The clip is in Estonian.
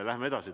Läheme edasi.